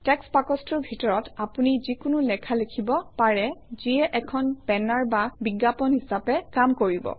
text বাকচটোৰ ভিতৰত আপুনি যিকোনো লেখা লিখিব পাৰে যিয়ে এখন বেনাৰ বা বিজ্ঞাপন হিচাপে কাম কৰিব